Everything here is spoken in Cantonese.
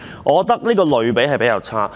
我認為這個比喻比較差。